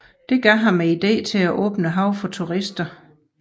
Dette gav ham idéen til at åbne haven for turister